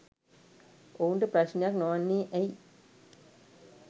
ඔවුන්ට ප්‍රශ්නයක් නොවන්නේ ඇයි?